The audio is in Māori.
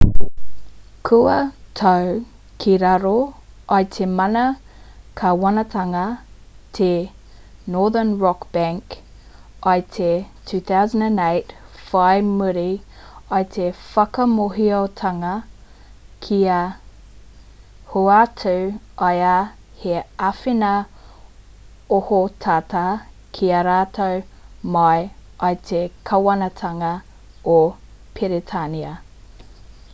kua tau ki raro i te mana kāwanatanga te northern rock bank i te 2008 whai muri i te whakamōhiotanga kua hoatu ai he āwhina ohotata ki a rātou mai i te kāwanatanga o peretānia